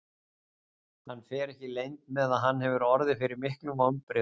Hann fer ekki leynt með að hann hefur orðið fyrir miklum vonbrigðum.